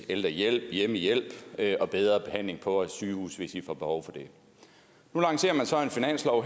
ældrehjælp hjemmehjælp og bedre behandling på vores sygehuse hvis de får behov for det nu lancerer man så en finanslov